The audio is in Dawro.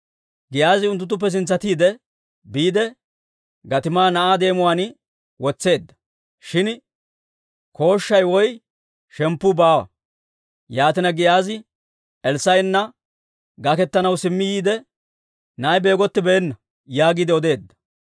Giyaazi unttuttuppe sintsatiide biide gatimaa na'aa deemuwaan wotseedda; shin kooshshay woy shemppu baawa. Yaatina Giyaazi Elssaa'ena gaketanaw simmi yiide, «Na'ay beegottibeena» yaagiide odeedda.